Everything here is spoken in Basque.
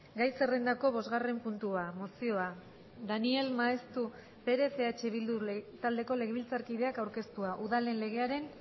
gai zerrendako bosgarren puntua mozioa daniel maeztu perez eh bildu taldeko legebiltzarkideak aurkeztua udalen legearen